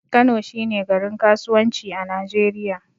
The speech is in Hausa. Kano shi ne garin kasuwanci a arewa.